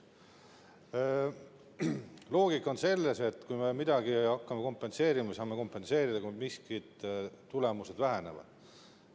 Loogika on selles, et kui me midagi hakkame kompenseerima, siis me saame kompenseerida, kui mingid tulemused vähenevad.